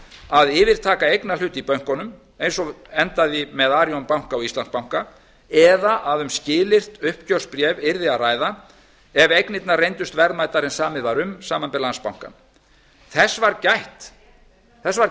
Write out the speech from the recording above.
að yfirtaka eignarhlut í bönkunum eins og endaði með arionbanka og íslandsbanka eða að um skilyrt uppgjörsbréf yrði að ræða ef eignirnar reyndust verðmætari en samið var um samanber landsbankann þess var